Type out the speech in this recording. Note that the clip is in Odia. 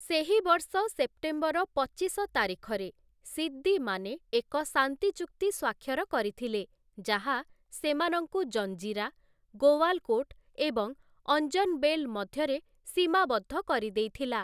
ସେହି ବର୍ଷ ସେପ୍ଟେମ୍ବର ପଚିଶ ତାରିଖରେ, ସିଦ୍ଦୀମାନେ ଏକ ଶାନ୍ତି ଚୁକ୍ତି ସ୍ୱାକ୍ଷର କରିଥିଲେ, ଯାହା ସେମାନଙ୍କୁ ଜଞ୍ଜିରା, ଗୋୱାଲ୍‌କୋଟ୍‌ ଏବଂ ଅଞ୍ଜନବେଲ୍ ମଧ୍ୟରେ ସୀମାବଦ୍ଧ କରିଦେଇଥିଲା ।